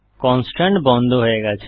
constraint বন্ধ হয়ে গেছে